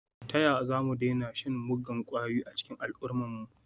Ta yaya za mu daina shan muggan kwayoyi a cikin al’ummarmu?